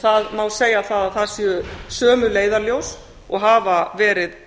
það má segja að það séu sömu leiðarljós og hafa verið